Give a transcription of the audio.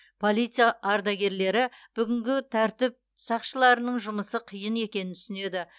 полиция ардагерлері бүгінгі тәртіп сақшыларының жұмысы қиын екенін түсінеді